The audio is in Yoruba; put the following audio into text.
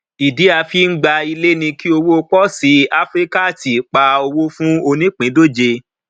ìdí a fi ń gba ilé ni kí òwò posi áfríkààti pá owó fún onípindòjé